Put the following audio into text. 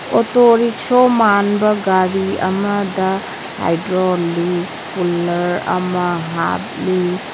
Auto rickshaw ꯃꯥꯟꯕ ꯒꯥꯔꯤ ꯑꯃꯗ ꯍꯥꯏꯗ꯭ꯔꯣꯂꯤꯛ ꯄꯨꯜꯂ꯭ꯔ ꯑꯃ ꯍꯥꯞꯂꯤ꯫